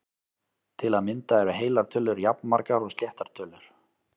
Til að mynda eru heilar tölur jafnmargar og sléttar tölur!